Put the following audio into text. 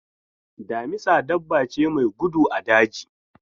Damisa dabba ce mai gudu a daji.